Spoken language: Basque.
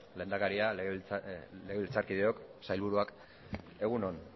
lehendakaria legebiltzarkideok sailburuak egun on